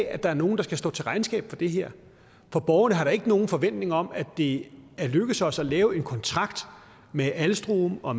at der er nogen der skal stå til regnskab for det her borgerne har da ikke nogen forventning om at det er lykkedes os at lave en kontrakt med alstom og